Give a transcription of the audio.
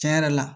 Tiɲɛ yɛrɛ la